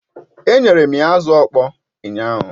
Enyere m ya azụ ọkpọr ụnyaahụ